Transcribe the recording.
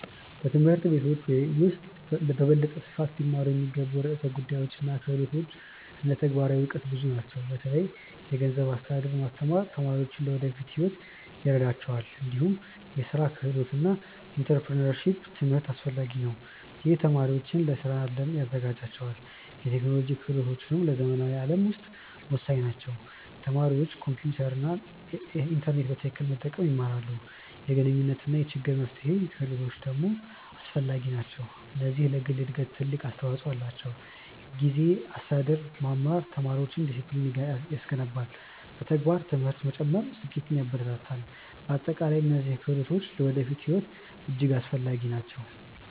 በትምህርት ቤቶች ውስጥ በበለጠ ስፋት ሊማሩ የሚገቡ ርዕሰ ጉዳዮች እና ክህሎቶች እንደ ተግባራዊ እውቀት ብዙ ናቸው። በተለይ የገንዘብ አስተዳደር ማስተማር ተማሪዎች ለወደፊት ሕይወት ይረዳቸዋል። እንዲሁም የስራ ክህሎቶች እና ኢንተርፕረነርሺፕ ትምህርት አስፈላጊ ናቸው። ይህ ተማሪዎችን ለስራው አለም ያዘጋጃል። የቴክኖሎጂ ክህሎቶችም በዘመናዊ ዓለም ውስጥ ወሳኝ ናቸው። ተማሪዎች ኮምፒውተር እና ኢንተርኔት በትክክል መጠቀም ይማራሉ። የግንኙነት እና የችግር መፍትሄ ክህሎቶች ደግሞ አስፈላጊ ናቸው። እነዚህ ለግል እድገት ትልቅ አስተዋፅኦ አላቸው። ጊዜ አስተዳደር መማር ተማሪዎችን ዲሲፕሊን ያስገነባል። በተግባር ትምህርት መጨመር ስኬትን ያበረታታል። በአጠቃላይ እነዚህ ክህሎቶች ለወደፊት ሕይወት እጅግ አስፈላጊ ናቸው።